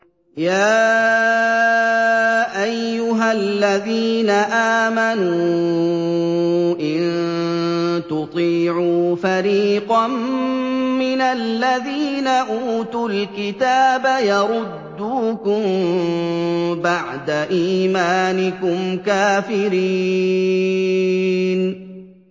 يَا أَيُّهَا الَّذِينَ آمَنُوا إِن تُطِيعُوا فَرِيقًا مِّنَ الَّذِينَ أُوتُوا الْكِتَابَ يَرُدُّوكُم بَعْدَ إِيمَانِكُمْ كَافِرِينَ